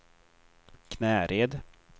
Knäred